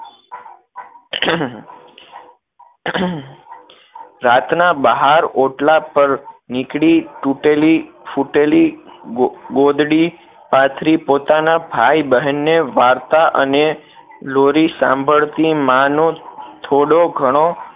રાત ના બહાર ઓટલા પર નીકળી તૂટેલી ફૂટેલી ગોદ ગોદડી પાથરી પોતાના ભાઈ બહેન ને વાર્તા અને લોરી સાંભળતી માં નું થોડો ઘણો